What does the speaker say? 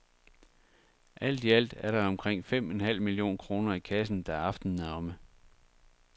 Alt i alt er der omkring fem en halv million kroner i kassen, da aftenen er omme.